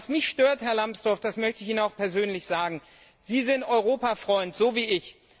Was mich stört, Herr Lambsdorff, möchte ich Ihnen auch persönlich sagen Sie sind Europa Freund, so wie ich.